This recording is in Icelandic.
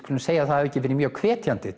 skulum segja að það hafi ekki verið mjög hvetjandi